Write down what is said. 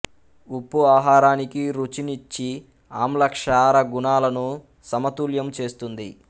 ఉప్పు ఆహారానికి రుచునిచ్చి ఆమ్ల క్షార గుణాలను సమతుల్యము చేస్తుంది